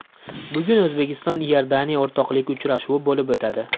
Bugun O‘zbekiston Iordaniya o‘rtoqlik uchrashuvi bo‘lib o‘tadi.